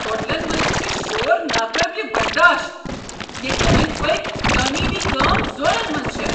ہوٹلن منٛز چھ شور ناقٲبلہ برداشت، ییٚتہ أنٛدۍ پٔکۍ تعمیری کٲم زورن منٛز چھےٚ۔